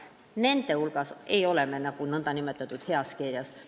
Nende puhul me ei ole nn heas kirjas.